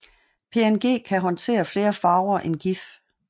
PNG kan håndtere flere farver end GIF